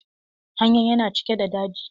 Hanyan yana cike da daji.